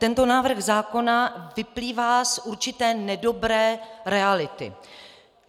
Tento návrh zákona vyplývá z určité nedobré reality.